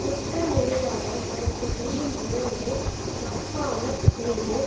குற்றஞ் செய்தாரை அதற்கு செய்யும் முறைமை தப்பாமற் செய்து